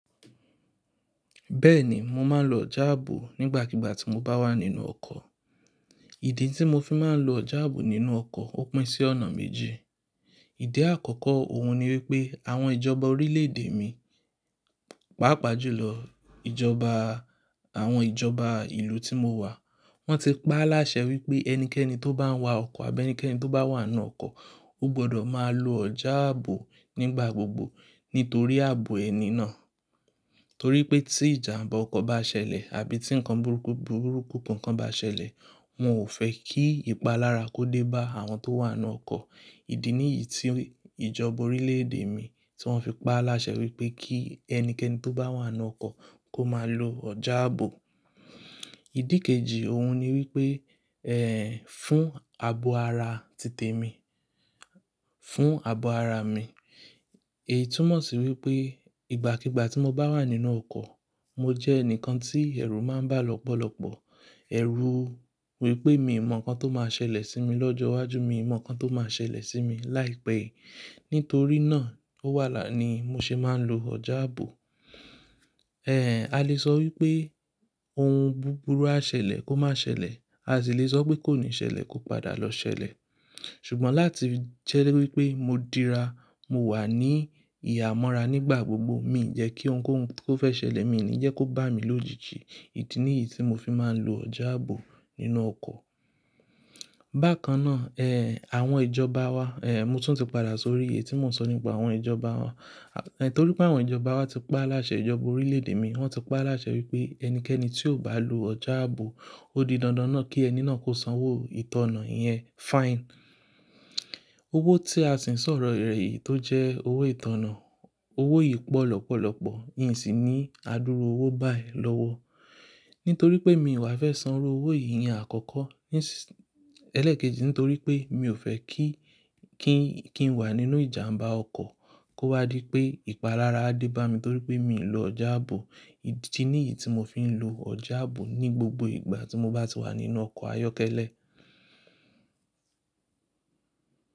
Bẹ́ẹ̀ni, mo máa ń lo ọjà ààbò nígbàkigbà tí mo bá wà nínú ọkọ̀. Ìdí tí mo fi máa ń lo ọjà ààbò nínú ọkọ̀ ó pín sí ọ̀nà méje. Ìdí àkọ́kọ́ òun ni wípé àwọn ìjọba orílè èdè mi, pàápàá jùlọ ìjọba àwọn ìjọba ìlú tí mo wà, wọ́n ti pa á láṣẹ wípé ẹnikẹ́ni tó bá ń wa ọkọ̀ àbí ẹnikẹ́ni tó bá wà nínú ọkọ̀, ó gbọdọ̀ máa lo ọjà ààbò nígbà gbogbo nítorí ààbò ẹni náà. Torí pé tí ìjàmbá ọkọ̀ bá ṣẹlẹ̀ àbí tí nǹkan burúkú, burúkú kankan bá ṣẹlẹ̀, wọn ò fẹ́ kí ìpalára kó dé bá àwọn tó wà nínú ọkọ̀. Ìdí nìyí tí ìjọba orílè èdè mi tí wọ́n fi pa á láṣẹ wípé kí ẹnikẹ́ni tó bá wà nínú ọkọ̀ kó máa lo ọjà ààbò. Ìdí kejì òun ni wípé, ẹ́ fún ààbò ara tìtẹ̀ mi, fún ààbò ara mi. Èyí túmọ̀ sí wípé ìgbàkigbà tí mo bá wà nínú ọkọ̀, mo jẹ́ ẹnìkan tí ẹ̀rù máa ń bá lọ́pọ̀lọ́pọ̀. Ẹ̀rù wípé mi mọ̀ ǹkan tó máa ṣẹlẹ̀ sí mi lọ́jọ́ iwájú, mi mọ̀ ǹkan tó máa ṣẹlẹ̀ sí mi láìpẹ́. Nítorí náà, ó wà ní mo ṣe máa ń lo ọjà ààbò. Ẹ̀, a lè sọ wípé ohun búburú á ṣẹlẹ̀ kó má ṣẹlẹ̀, a sì lè sọ wípé kò ní ṣẹlẹ̀ kó padà lọ ṣẹlẹ̀. Ṣùgbọ́n láti jẹ́ wípé mo dira, mo wà ní ìhámọ́ra nígbà gbogbo, mi ò yẹ kí ohun-òun tó fẹ́ ṣẹlẹ̀ mí, mi ò ní yẹ kó bá mi lójijì. Idi ni èyí tí mo fi máa ń lo ọjà ààbò nínú ọkọ̀. Bákan náà, ẹ́ àwọn ìjọba wa, ẹ́ mo tún ti padà sórí èyí tí mò ń sọ nípa àwọn ìjọba wa. Ẹ̀ torí pé àwọn ìjọba wa ti pa á láṣẹ, ìjọba orílè èdè mi wọ́n ti pa á láṣẹ wípé ẹnikẹ́ni tí ò bá lo ọjà ààbò, ó di dandan náà kí ẹni náà kó sanwó ìtànná yẹn, fine. Owó tí a sì ń sọ̀rọ̀ rẹ̀ yìí tó jẹ́ owó ìtànná, owó yìí pọ̀ lọ́pọ̀lọ́pọ̀, yìí sì ní adúrú owó báyìí lọ́wọ́. Nítorí pé mi ò wá fẹ́ sanwó owó yìí ní àkọ́kọ́, níṣ, ẹlẹ́ẹ̀kejì nítorí pé mi ò fẹ́ kí, kí n wà nínú ìjàmbá ọkọ̀ kó wá di pé ìpalára dé bá mi torí pé mi ò lọ ọjà ààbò. Ìdí nìyí tí mo fi ń lo ọjà ààbò ní gbogbo ìgbà tí mo bá ti wà nínú ọkọ̀ ayọ́kẹ́lẹ́.